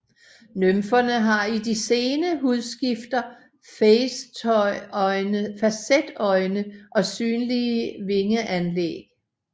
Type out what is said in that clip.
Nymferne har i de sene hudskifter facetøjne og synlige vingeanlæg